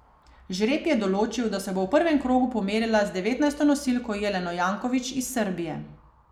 Žreb je določil, da se bo v prvem krogu pomerila z devetnajsto nosilko Jeleno Janković iz Srbije.